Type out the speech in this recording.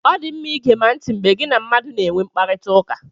Ọ dị mma igema ntị mgbe gị na mmadụ na-enwe mkparịtaụka.